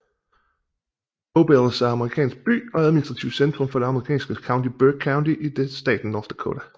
Bowbells er en amerikansk by og administrativt centrum for det amerikanske county Burke County i staten North Dakota